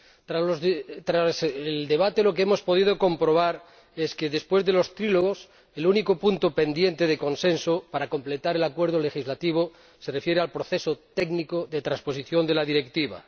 Tras el debate, lo que hemos podido comprobar es que, después de los diálogos tripartitos, el único punto pendiente de consenso, para completar el acuerdo legislativo, se refiere al proceso técnico de transposición de la Directiva.